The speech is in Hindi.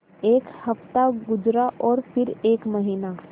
एक हफ़्ता गुज़रा और फिर एक महीना